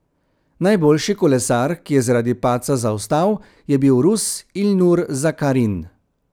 Najboljši kolesar, ki je zaradi padca zaostal, je bil Rus Ilnur Zakarin.